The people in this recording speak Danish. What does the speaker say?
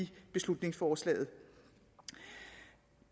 beslutningsforslaget